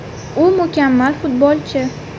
U mukammal futbolchi.